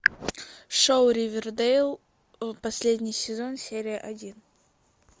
шоу ривердейл последний сезон серия один